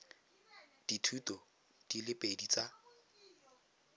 dithuto di le pedi tsa